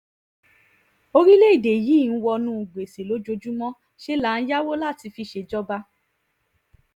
orílẹ̀‐èdè yìí ń wọnú gbèsè lójoojúmọ́ ṣe là ń yáwó láti fi ṣèjọba